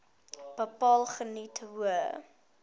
bepaal geniet hoë